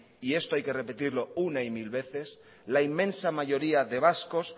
y esto hay que repetirlo una y mil veces la inmensa mayoría de vascos